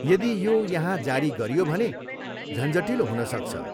यदि यो यहाँ जारी गरियो भने झन्झटिलो हुनसक्छ।